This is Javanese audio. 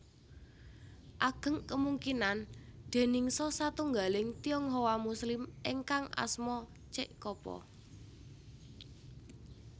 Ageng kemungkinan déningsa satunggaling Tionghoa Muslim ingkang asma Cek Ko po